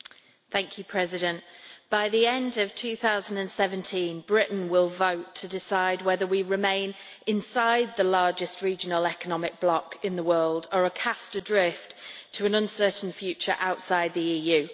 Madam President, by the end of 2017 Britain will vote to decide whether we remain inside the largest regional economic bloc in the world or are cast adrift to an uncertain future outside the EU.